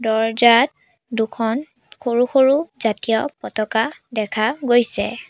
দৰ্জ্জাত দুখন সৰু সৰু জাতীয় পতাকা দেখা গৈছে।